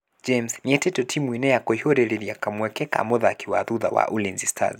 James, nĩetĩtwo timũ-inĩ ya kũiyũrĩrĩria kamweke ga mũthaki wa thutha wa Ulinzi Stars .